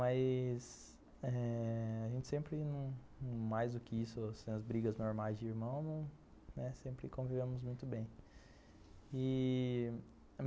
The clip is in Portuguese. Mas eh... a gente sempre, mais do que isso, as brigas normais de irmão, sempre convivemos muito bem ih...